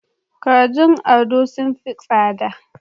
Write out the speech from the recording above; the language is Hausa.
Kajin ado sun fi tsada.